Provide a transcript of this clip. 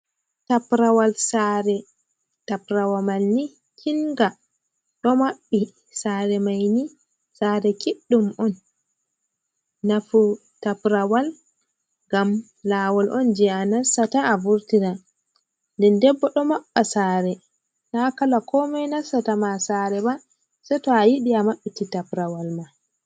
Taprawal sare, taprawa mai ni kinga ɗo maɓɓi, tsare maini tsare kiɗɗum on, nafu taprawal ngam lawol on je anastaata, a vurtira, den den bo ɗo maɓɓa sare na kala komoi ba nastata ma sare ba sei to a yiɗi a maɓɓiti taprawal ma.